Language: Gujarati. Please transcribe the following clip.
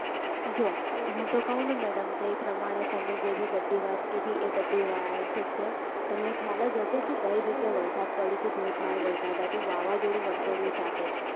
જો હું તો કહું ને madam તે પ્રમાણે તમે જેવી બધી વાત કીધી એ બધી right છે તમને ખ્યાલ જ હશે કે ગયી week વરસાદ પડયો હતો છે ધોધમાર વરસાદવ હતો વાવાઝોડું વંટોલિયા સાથે